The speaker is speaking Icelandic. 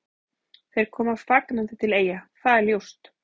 Þeir koma fagnandi til Eyja, það er ljóst.